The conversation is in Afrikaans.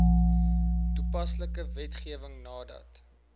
toepaslike wetgewing nadat